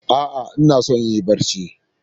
A'a, ina so in yi barci